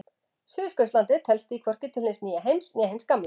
Suðurskautslandið telst því hvorki til hins nýja heims né hins gamla.